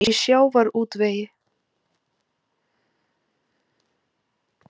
Ónefndur fréttamaður: Í sjávarútvegi?